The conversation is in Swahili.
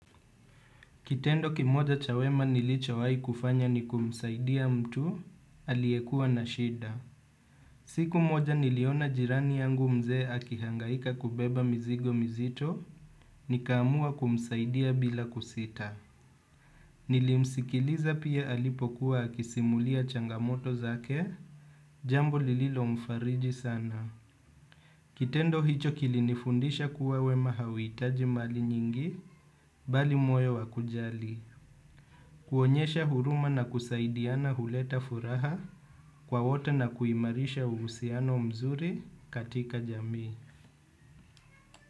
Kitendo kimoja chawema nilichoawai kufanya ni kumsaidia mtu, aliekua na shida. Siku moja niliona jirani yangu mzee akihangaika kubeba mzigo mzito, nikamua kumsaidia bila kusita. Nilimsikiliza pia alipokuwa akisimulia changamoto zake, jambo lililo mfariji sana. Kitendo hicho kilinifundisha kuwa wema hawitaji mali nyingi, bali moyo wakujali. Kuonyesha huruma na kusaidiana huleta furaha kwa wote na kuimarisha uusiano mzuri katika jamii.